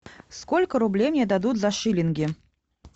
сколько рублей мне дадут за шиллинги